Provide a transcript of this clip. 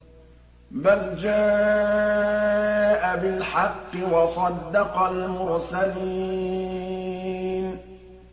بَلْ جَاءَ بِالْحَقِّ وَصَدَّقَ الْمُرْسَلِينَ